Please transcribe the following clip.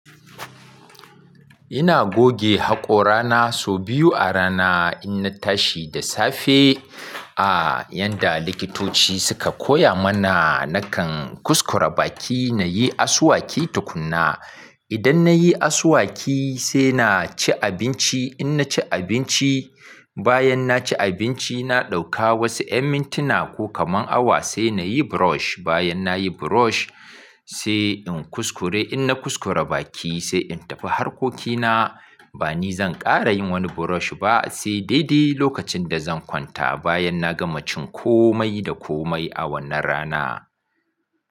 Ina goge haƙora na sau biyu a rana. In na tashi da safe, a yanda likitoci suka koya mana, nakan kuskura baki na yi asuwaki tukuna. Idan na yi asuwaki sai na ci abinci. In na ci abinci, bayan na ci abinci na ɗauka wasu emmintina ko kaman awa sai na yi brush. Bayan na yi brush sai in kuskure. In na kuskura baki sai in tafi harkokina. Ba ni zan ƙara yin wani brush ba sai daidai lokacin da zan kwanta bayan na gama cin komai da komai a wannan rana.